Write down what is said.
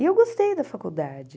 E eu gostei da faculdade.